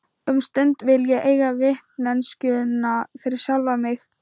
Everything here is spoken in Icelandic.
Um stund vil ég eiga vitneskjuna fyrir sjálfa mig.